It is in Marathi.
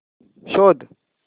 शोध